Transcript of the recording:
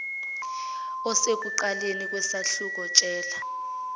osekuqaleni kwesahluko tshela